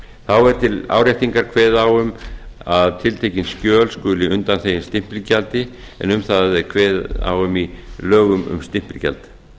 þá er til áréttingar kveðið á um að tiltekin skjöl skulu undanþegin stimpilgjaldi en um það er kveðið á um í lögum um stimpilgjald